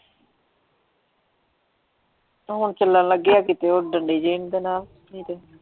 ਹੁਣ ਚੱਲਣ ਲੱਗੇ ਆ ਕਿਤੇ ਉਹ ਡੰਡੇ ਜੇ ਦੇ ਨਾਲ ਨਹੀ ਤੇ,